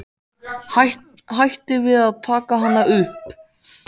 Hætti við að taka hana upp.